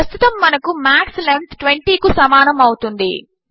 ప్రస్తుతము మనకు max length 20 కు సమానము అవుతుంది